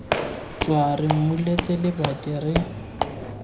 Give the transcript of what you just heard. tswa re mmuletse lebati re